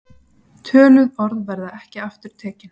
Töluð orð verða ekki aftur tekin.